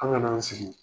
An kana an sigi